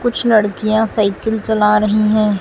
कुछ लड़कियां साइकिल चला रही हैं।